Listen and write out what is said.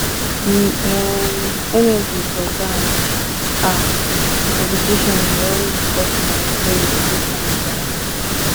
the um energy for dance um competition dey always dey burst my brain every time um